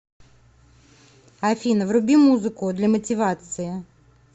афина вруби музыку для мотивации